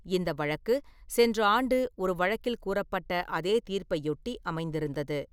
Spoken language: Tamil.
இந்த வழக்கு, சென்ற ஆண்டு ஒரு வழக்கில் கூறப்பட்ட அதே தீர்ப்பையொட்டி அமைந்திருந்தது.